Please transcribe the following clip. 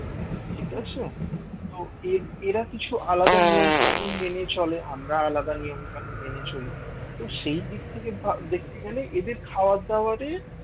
এরা কিছু আলাদা নিয়মকানুন মেনে চলে আমরা আলাদা নিয়ম কানুন মেনে চলি তো সেই দিক থেকে দেখতে গেলে এদের খাবার দাবারে